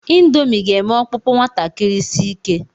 Ịndomii ga-eme ọkpụkpụ nwatakịrị si ike.